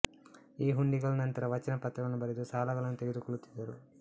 ಈ ಹುಂಡಿಗಳ ನಂತರ ವಚನ ಪತ್ರಗಳನ್ನು ಬರೆದು ಸಾಲಗಳನ್ನು ತೆಗೆದುಕೊಳ್ಳುತ್ತಿದ್ದರು